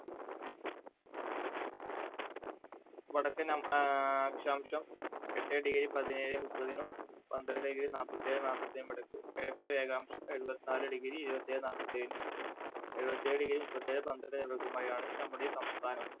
വടക്കൻ ആ അക്ഷാംശം എട്ടേ degree പതിനേഴേമുപ്പതിനും പന്ത്രണ്ടേ ഇരുപത് നാല്പത്തിഏഴേ നാല്പത്തി ഒന്നിനും ഇടയ്ക്ക് കിഴക്കേ രേഖാംശം എഴുപത്തി നാല് degree എഴുപത്തേഴേ നാല്പത്തേഴിനും എഴുപത്തേഴ് degree മുപ്പത്തിനാലെ പന്ത്രണ്ടിനും നമ്മുടെ ഈ സംസ്ഥാനം